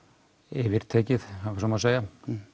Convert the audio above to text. yfirtekið ef svo má segja